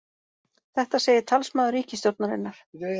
Þetta segir talsmaður ríkisstjórnarinnar